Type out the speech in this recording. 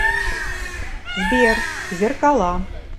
сбер зеркала